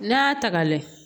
N'a y'a ta ka lajɛ